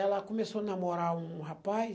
Ela começou a namorar um rapaz.